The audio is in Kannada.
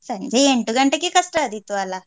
ಸಂಜೆ ಎಂಟು ಗಂಟೆಗೆ ಕಷ್ಟ ಆದೀತು ಅಲ್ಲ.